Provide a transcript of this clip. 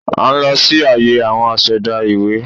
À n lọ sí àyè àwon asẹ̀dá ìwé